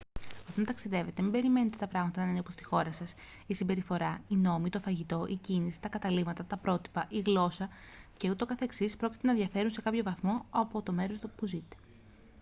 όταν ταξιδεύετε μην περιμένετε τα πράγματα να είναι όπως στη χώρα σας η συμπεριφορά οι νόμοι το φαγητό η κίνηση τα καταλύματα τα πρότυπα η γλώσσα και ούτω καθεξής πρόκειται να διαφέρουν σε κάποιον βαθμό από το μέρος όπου ζείτε